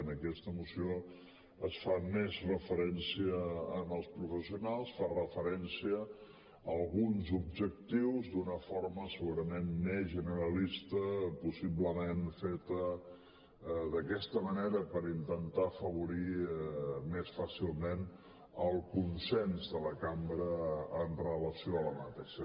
en aquesta moció es fa més referència als professionals fa referència a alguns objectius d’una forma segurament més generalista possiblement feta d’aquesta manera per intentar afavorir més fàcilment el consens de la cambra amb relació a aquesta moció